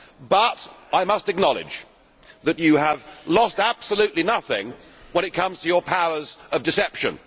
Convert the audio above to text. But I must acknowledge that you have lost absolutely nothing when it comes to your powers of deception.